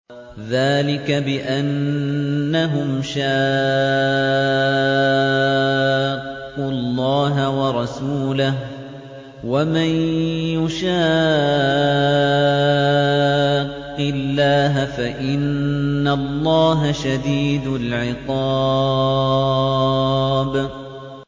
ذَٰلِكَ بِأَنَّهُمْ شَاقُّوا اللَّهَ وَرَسُولَهُ ۖ وَمَن يُشَاقِّ اللَّهَ فَإِنَّ اللَّهَ شَدِيدُ الْعِقَابِ